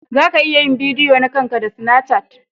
Za ka iya yin bidiyo na kan ka da sinacat.